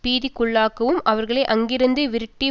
பீதிக்குள்ளாக்கவும் அவர்களை அங்கிருந்து விரட்டி